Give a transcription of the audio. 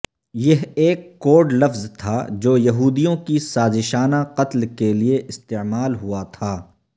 یہ ایک کوڈ لفظ تھا جو یہودیوں کی سازشانہ قتل کے لئے استعمال ہوا تھا